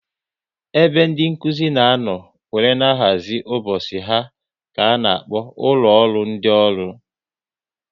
Ebe ndị Nkụzi na anọ wéré na-ahazi ụbọchị ha ka a na-akpọ ụlọ ọrụ ndị ọrụ